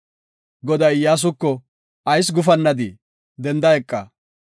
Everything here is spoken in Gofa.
Goday Iyyasuko, “Ayis gufannadii? Denda eqa.